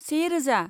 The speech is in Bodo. से रोजा